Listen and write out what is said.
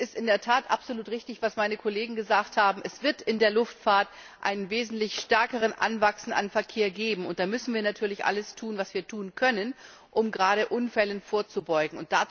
Es ist in der Tat absolut richtig, was meine Kollegen gesagt haben Es wird in der Luftfahrt ein wesentlich stärkeres Anwachsen an Verkehr geben, und da müssen wir natürlich alles tun, was wir tun können, um Unfällen vorzubeugen.